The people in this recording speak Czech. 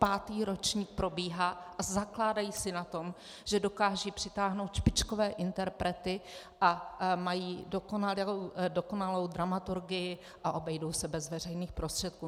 Pátý ročník probíhá a zakládají si na tom, že dokážou přitáhnout špičkové interprety a mají dokonalou dramaturgii a obejdou se bez veřejných prostředků.